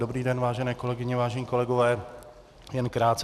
Dobrý den, vážené kolegyně, vážení kolegové, jen krátce.